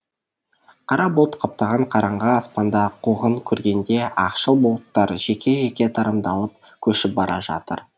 қара бұлт қаптаған қараңғы аспанда қуғын көргендей ақшыл бұлттар жеке жеке тарамдалып көшіп бара жатыр